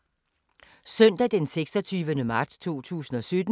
Søndag d. 26. marts 2017